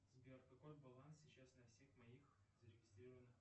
сбер какой баланс сейчас на всех моих зарегистрированных